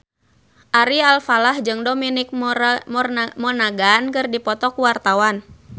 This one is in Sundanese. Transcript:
Ari Alfalah jeung Dominic Monaghan keur dipoto ku wartawan